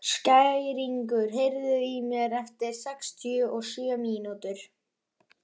Skæringur, heyrðu í mér eftir sextíu og sjö mínútur.